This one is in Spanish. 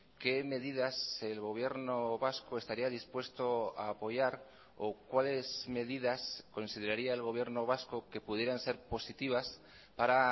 qué medidas el gobierno vasco estaría dispuesto a apoyar o cuáles medidas consideraría el gobierno vasco que pudieran ser positivas para